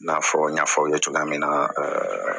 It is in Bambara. I n'a fɔ n y'a fɔ aw ye cogoya min na